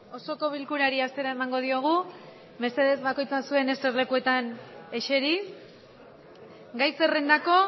osoko bilkurari hasiera emango diogu mesedez bakoitza zuen eserlekuetan eseri gai zerrendako